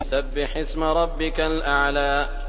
سَبِّحِ اسْمَ رَبِّكَ الْأَعْلَى